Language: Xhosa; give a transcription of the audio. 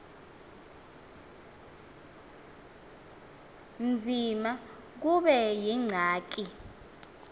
nzima kube yingxaki